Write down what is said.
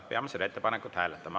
Peame seda ettepanekut hääletama.